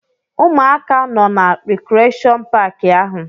Ụmụaka nọ na rikreshọn paaki ahụ.